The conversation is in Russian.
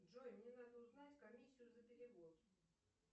джой мне надо узнать комиссию за перевод